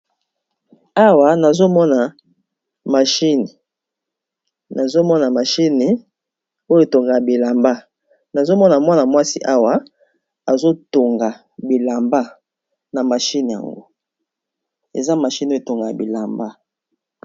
Awa nazomona mwana mwasi awa aza na mashine oyo etongaka bilamba.